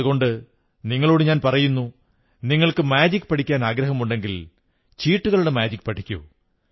അതുകൊണ്ട് നിങ്ങളോടു പറയുന്നു നിങ്ങൾക്ക് മാജിക് പഠിക്കാനാഗ്രഹമുണ്ടെങ്കിൽ ചീട്ടുകളുടെ മാജിക് പഠിക്കൂ